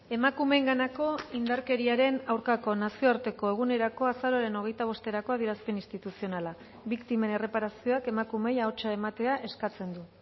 emakumeenganako indarkeriaren aurkako nazioarteko egunerako azaroaren hogeita bosterako adierazpen instituzionala biktimen erreparazioak emakumeei ahotsa ematea eskatzen du